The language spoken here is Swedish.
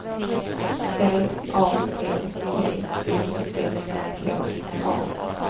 B A L T I S K A